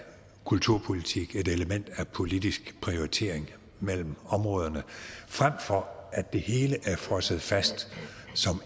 kulturpolitik et element af politisk prioritering mellem områderne frem for at det hele er frosset fast som